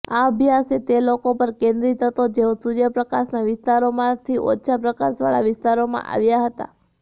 આ અભ્યાસ તે લોકો પર કેન્દ્રિત હતો જેઓ સૂર્યપ્રકાશના વિસ્તારોમાંથી ઓછા પ્રકાશવાળા વિસ્તારોમાં આવ્યા હતા